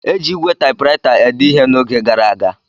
Eji ígwè Taịpuraịta ede ihe n’oge gara aga.